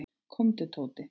Komdu Tóti.